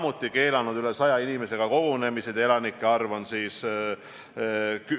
Oma kõne alguses ma rääkisin, et viirusega nakatunuid on meil 16, aga kui ma õigesti aru saan, siis see ei pea enam paika.